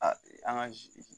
Aa an ka